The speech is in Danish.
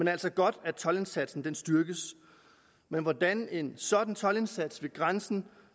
er altså godt at toldindsatsen styrkes hvordan en sådan toldindsats ved grænsen